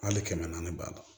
Hali kɛmɛ naani b'a la